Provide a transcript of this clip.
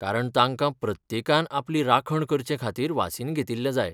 कारण तांका प्रत्येकान आपली राखण करचें खातीर वासीन घेतिल्लें जाय.